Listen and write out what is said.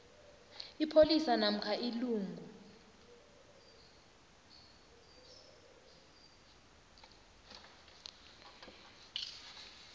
ipholisa namkha ilungu